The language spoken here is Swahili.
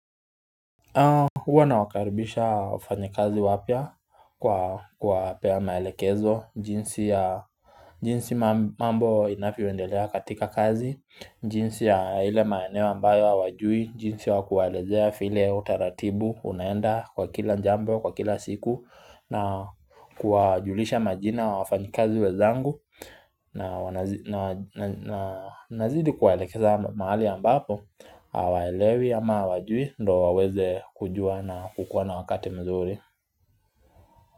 Huwa nawakaribisha wafanyakazi wapya kwa kupea maelekezo jinsi mambo inavyo endelea katika kazi, jinsi ya ile maeneo ambayo hawajui, jinsi ya kuwaelezea vile utaratibu unaenda kwa kila jambo kwa kila siku na kuwajulisha majina wa wafanyikazi wenzangu na nazidi kuwaelekeza mahali ambapo hawaelewi ama hawajui ndo waweze kujua na kukua na wakati mzuri.